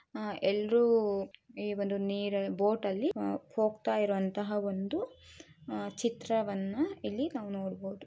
ಆಹ್ಹ್ ಎಲ್ರು ಈ ಒಂದು ನೀರ್ ಬೋಟ್ ಅಲ್ಲಿ ಹೋಗ್ತಾ ಇರೋ ಅಂತಹ ಒಂದು ಚಿತ್ರವನ್ನ ಇಲ್ಲಿ ನಾವು ನೋಡ್ಬೋದು.